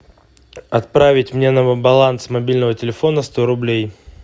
отправить мне на баланс мобильного телефона сто рублей